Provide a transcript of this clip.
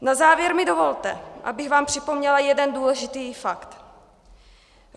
Na závěr mi dovolte, abych vám připomněla jeden důležitý fakt.